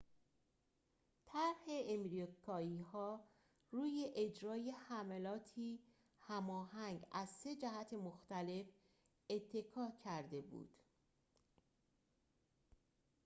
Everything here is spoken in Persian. طرح آمریکایی‌ها روی اجرای حملاتی هماهنگ از سه جهت مختلف اتکا کرده بود